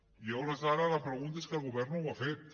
i a hores d’ara la pregunta és que el govern no ho ha fet